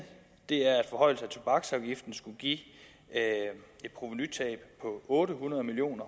er at forhøjelse af tobaksafgiften skulle give et provenutab på otte hundrede million